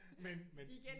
Men men